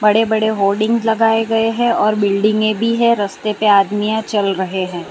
बड़े-बड़े होर्डिंग्स लगाए गए हैं और बिल्डिंगे भी है। रस्ते पर आदमीयां चल रहे हैं।